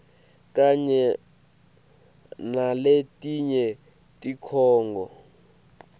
kanye naletinye tikhungo